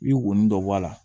I bi wɔni dɔ bɔ a la